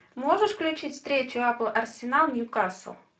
можешь включить встречу апл арсенал ньюкасл